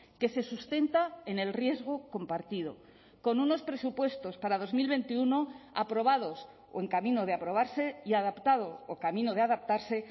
que se sustenta en el riesgo compartido con unos presupuestos para dos mil veintiuno aprobados o en camino de aprobarse y adaptado o camino de adaptarse